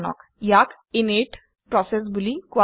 ইয়াক init process বুলি কোৱা হয়